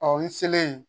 Ɔ n selen